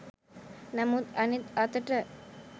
නමුත් අනෙත් අතට